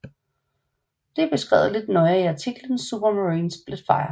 Det er beskrevet lidt nøjere i artiklen Supermarine Spitfire